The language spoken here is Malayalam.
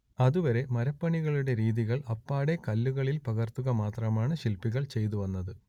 അതുവരെ മരപ്പണികളുടെ രീതികൾ അപ്പാടെ കല്ലുകളിൽ പകർത്തുക മാത്രമാണ് ശില്പികൾ ചെയ്തുവന്നത്